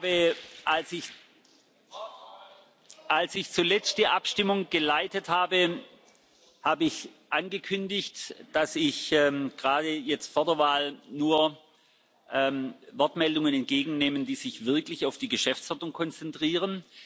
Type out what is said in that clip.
Ich habe, als ich zuletzt die Abstimmung geleitet habe, angekündigt, dass ich gerade jetzt vor der Wahl nur Wortmeldungen entgegennehme, die sich wirklich auf die Geschäftsordnung konzentrieren.